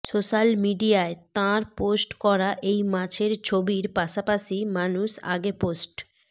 social মিডিয়ায় তাঁর post করা এই মাছের ছবির পাশাপাশি মানুষ আগে পোস্ট